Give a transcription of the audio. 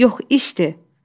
Yox işdir.